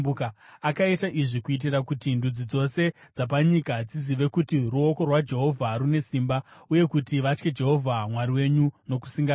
Akaita izvi kuitira kuti ndudzi dzose dzapanyika dzizive kuti ruoko rwaJehovha rune simba uye kuti vatye Jehovha Mwari wenyu nokusingaperi.”